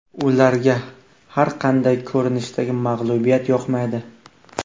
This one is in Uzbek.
Ularga har qanday ko‘rinishdagi mag‘lubiyat yoqmaydi.